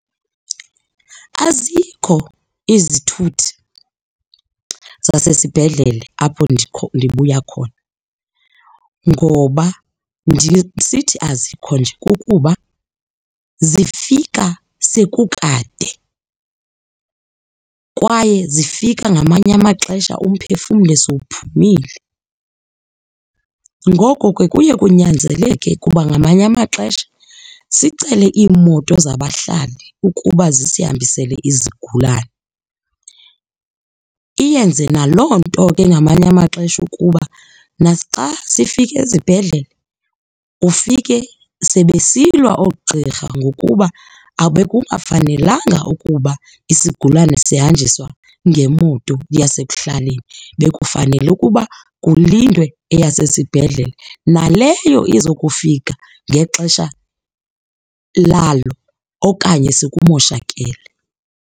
Azikho izithuthi zasesibhedlele apho ndibuya khona ngoba ndisithi azikho nje kukuba zifika sekukade kwaye zifika ngamanye amaxesha umphefumle sowuphumile. Ngoko ke kuye kunyanzeleke ukuba ngamanye amaxesha sicele iimoto zabahlali ukuba zisihambisele izigulane. Iyenze naloo nto ke ngamanye amaxesha ukuba naxa sifika ezibhedlele ufike sebesilwa oogqirha ngokuba bekungafanelanga ukuba isigulane sahanjiswa ngemoto yasekuhlaleni, bekufanele ukuba kulindwe eyasesibhedlele, naleyo iza ukufika ngexesha lalo okanye sekumoshakele.